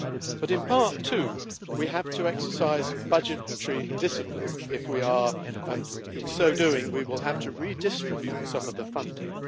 But in part two we have to exercise budgetary discipline, and in so doing we will have to redistribute some of the funding.